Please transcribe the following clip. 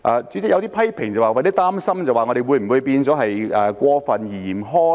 主席，有些批評說有點擔心，我們會否變得過分嚴苛呢？